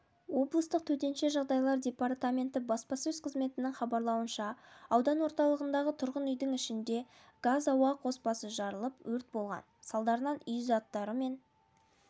облыстық төтенше жағдайлар департаменті баспасөз қызметінің хабарлауынша аудан орталығындағы тұрғын үйдің ішінде газ-ауа қоспасы жарылып өрт болған салдарынан үй заттары мен